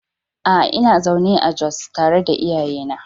A'a, ina zaune a Jos tare da iyayena.